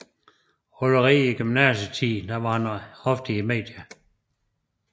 Allerede i gymnasietiden var han ofte i medierne